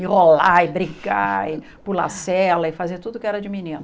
E rolar, e brincar, e pular cela, e fazer tudo que era de menino.